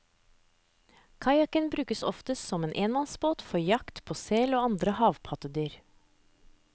Kajakken brukes oftest som enmannsbåt for jakt på sel og andre havpattedyr.